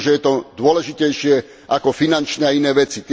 Možno, že je to dôležitejšie ako finančné a iné veci.